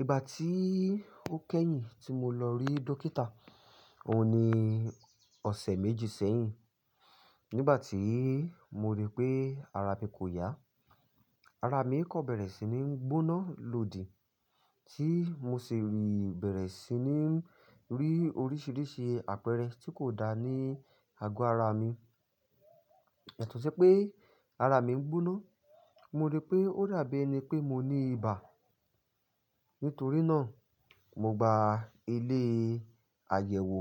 Ìgbà tí ó kẹ́yìn tí mo lọ rí dókítà òun ni ọ̀sẹ̀ méjì sẹ́yìn. Nígbà tí mo rí pé ara mi kò yá, ara mi kò bẹ̀rẹ̀ sí ní gbóná lòdì. Tí mo sì rí bẹ̀rẹ̀ sí ní rí oríṣiríṣi àpẹẹrẹ tí kò dáa ní àgọ́ ara mi. Yatò ṣi pé ara mi ń gbóná, mo rí pé ó dà bí ẹni pé mo ní ibà. Nítorí náà, mo gba ilé àyẹ̀wò,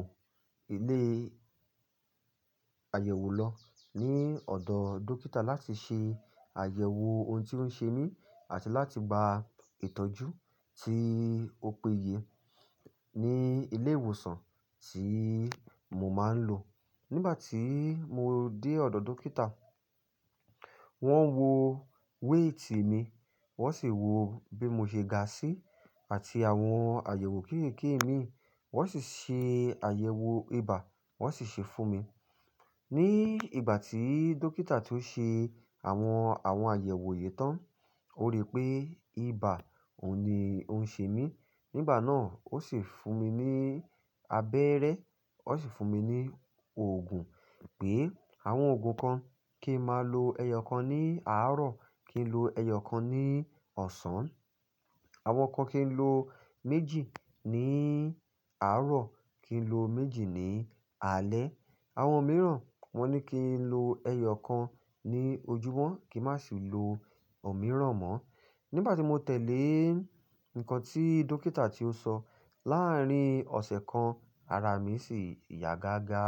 ilé àyẹ̀wò lọ ní ọ̀dọ̀ dókítà láti ṣe àyẹ̀wò ohun tí ó ń ṣe mí àti láti gba ìtọ́jú tí ó péye ní ilé ìwòsàn tí mo máa ń lò. Nígbà tí mo dé ọ̀dọ̀ dókítà, wọ́n wo wéètì mi, wọ́n sì wo bí mo ṣe ga sí, àti àwọn àyẹ̀wò kéékèèké mi. Wọ́n sì ṣe àyẹ̀wò ibà, wọ́n sì ṣe fún mi. Ni ìgbà tí dókítà tó ṣe àwọn, àwọn àyẹ̀wò yii tán, ó rí pé ibà òun ni ó ń ṣe mí. Nígbà náà ó sì fún mi ní abẹ́rẹ́, ó sì fún mi ní oògùn. Pé àwọn òògùn kan kí n máa lo ẹyọ kan ní àárọ̀, kí n lo ẹyọ kan ní ọ̀sán. Àwọn kan kí n lo méjì ní àárọ̀, kí n lo méjì ní alẹ́. Àwọn mìíràn wọ́n ní kí n lo ẹyọ kan ní ojúmọ́, kí n má sì lo òmíràn mọ. Nígbà tí mo tẹ̀lé nǹkan tí dókítà ti ó sọ, láàárín ọ̀sẹ̀ kan ara mi sì yá gágá.